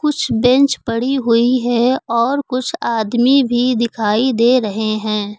कुछ बेंच पड़ी हुई हैं और कुछ आदमी भी दिखाई दे रहे हैं।